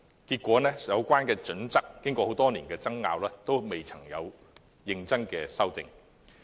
結果經過多年爭拗，《規劃標準》仍未認真修訂。